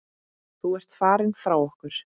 Þú ert farinn frá okkur.